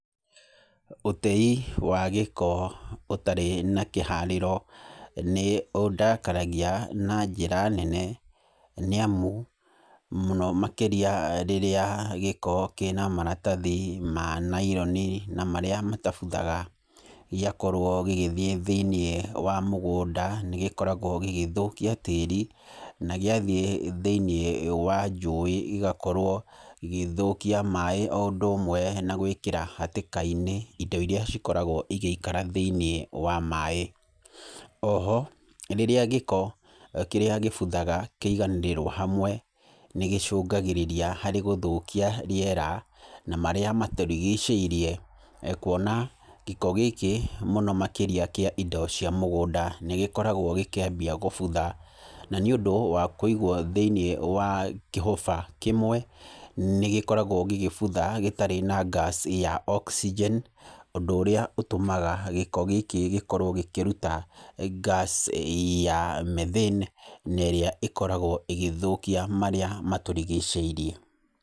Ũtei wa gĩko ũtarĩ na kĩharĩro nĩ ũndakaragia na njĩra nene, nĩ amu, mũno makĩria rĩrĩa gĩko kĩna maratathi ma naironi na marĩa matabuthaga gĩakorwo gĩgĩthiĩ thĩiniĩ wa mũgũnda, nĩ gĩkoragwo gĩgĩthũkia tĩĩri. Na gĩathiĩ thĩiniĩ wa njũĩ igakorwo igĩthũkia maaĩ o ũndũ ũmwe na gwĩkĩra hatĩka-inĩ indo irĩa cikoragwo igaĩikara thĩiniĩ wa maaĩ. Oho, rĩrĩa gĩko kĩrĩa gĩbuthaga kĩaganĩrĩrwo hamwe, nĩ gĩcũngagĩrĩria harĩ gũthũkia rĩera, na marĩa matũrigicĩirie. Kuona gĩko gĩkĩ mũno makĩria kĩa indo cia mũgũnda, nĩ gĩkoragwo gĩkĩambia gũbutha. Na nĩ ũndũ wa kũigwo thĩiniĩ wa kĩhũba kĩmwe, nĩ gĩkoragwo gĩgĩbutha gĩtarĩ na gas ya oxygen, ũndũ ũrĩa ũtũmaga gĩko gĩkĩ gĩkoragwo gĩkĩruta gas ya methane, na ĩrĩa ĩkoragwo ĩgĩthũkia marĩa matũrigicĩirie.